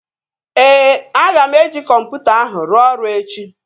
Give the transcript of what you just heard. Ee, aga m eji kọmputa ahụ ruo ọrụ echi